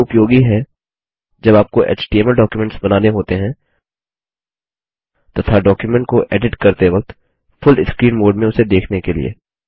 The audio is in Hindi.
यह उपयोगी है जब आपको एचटीएमएल डॉक्युमेन्ट्स बनाने होते हैं तथा डॉक्युमेंट को एडिट करते वक्त फुल स्क्रीन मोड में उसे देखने के लिए